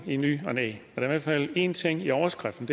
i ny og næ der er i hvert fald en ting i overskriften